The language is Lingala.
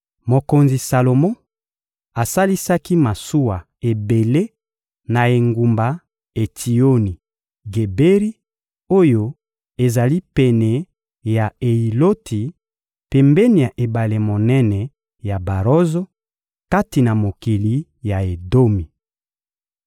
Mokonzi Salomo asalisaki masuwa ebele na engumba Etsioni-Geberi oyo ezali pene ya Eyiloti, pembeni ya ebale monene ya Barozo, kati na mokili ya Edomi.